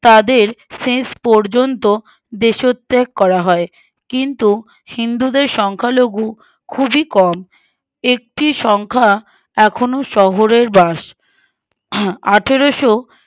তাদের শেষ পর্যন্ত দেশত্যাগ করা হয় কিন্তু হিন্দুদের সংখ্যালঘু খুবই কম একটি সংখ্যা এখুনো শহরের বাস আহ আঠেরোশো